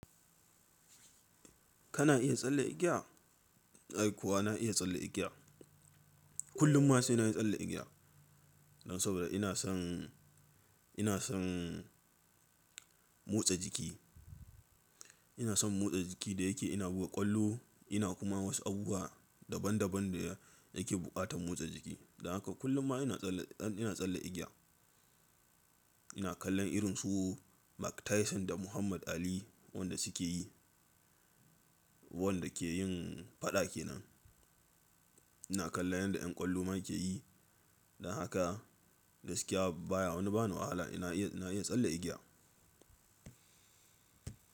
Kana iya tsalle igiya? Ai kuwa na iya tsalle igiya. Kullum ma sai na yi tsalle igiya. Dan saboda ina son, ina son motsa jiki. Ina son motsa jiki da yake ina buga ƙwallo, ina kuma wasu abubuwa daban daban da yake buƙatan motsa jiki. Dan haka kullum ma ina tsalle, ina tsalle igiya. Ina kallon irin su Mike Tyson da Muhammad Ali wanda suke yi, wanda ke yin faɗa kenan. Ina kallon yanda ƴan ƙwallo ma ke yi. Dan haka gaskiya baya wani ba ni wahala ina iya, ina iya tsalle igiya.